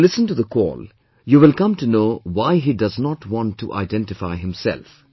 When you listen to the call, you will come to know why he does not want to identify himself